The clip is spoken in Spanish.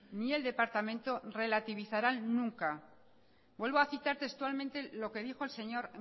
ni el departamento relativizarán nunca vuelvo a citar textualmente lo que dijo el señor